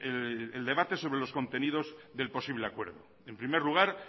el debate sobre los contenidos de un posible acuerdo en primer lugar